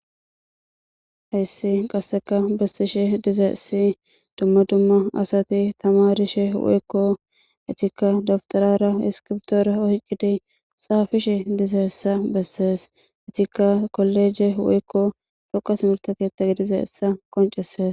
hayssi qasseka bessishe dize essi dumma dumma asati tamarishe woykko itikka dabtarara iskiptoore oyqqidi xaafishe diza essa bessees itikka kolleje woykko foqatumultaketa dize essa qoncesees